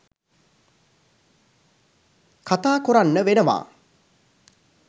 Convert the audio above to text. කතා කොරන්න වෙනවා.